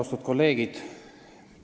Austatud kolleegid!